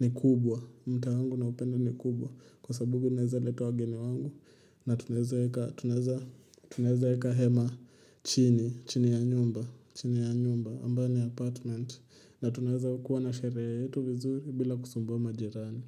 ni kubwa. Mtaa wangu naupenda ni kubwa. Kwa sababu naweza leta wageni wangu. Na tunaeza eka hema chini, chini ya nyumba. Chini ya nyumba, ambayo ni apartment. Na tunaeza kuwa na sherehe yetu vizuri bila kusumbua majirani.